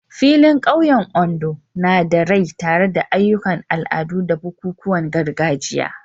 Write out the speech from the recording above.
Filin ƙauyen Ondo na da rai tare da ayyukan al'adu da bukukuwan gargajiya.